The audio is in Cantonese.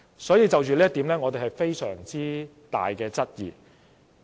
所以，就這一點，我們存有非常大的質疑。